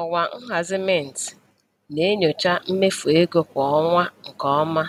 Ọwa nhazi Mint na-enyochaa mmefu ego kwa ọnwa nke ọma,